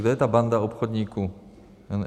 Kdo je ta banka obchodníků?